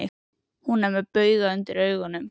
Hún er með bauga undir augunum.